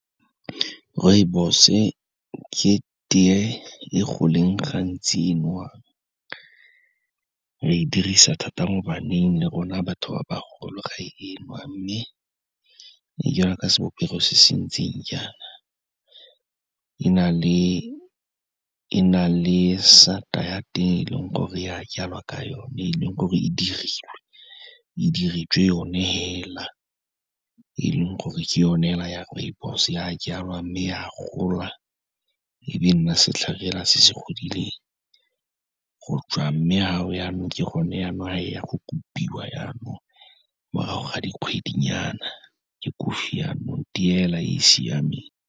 Rooibos-e ke teye e go leng gantsi e nwewang, re dirisa thata mo baneng le rona batho ba bagolo ra e nwa, mme e jana ka sebopego se se ntseng jaana, e na le sata ya teng, e leng gore ya jalwa ka yone, e leng gore e diriwe, e diretswe yone fela, e leng gore ke yone fela ya rooibos, ya jalwa mme e a gola e be nna setlhare fela se se godileng. Go tswa mme fa o jaanong, ke gone jaanong e yang go kopiwa jaanong, morago ga dikgwedinyana ke kofi jaanong, teye fela e e siameng.